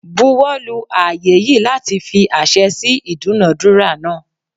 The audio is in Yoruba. Buwo lu aaye yii lati fi ase si idunadura naa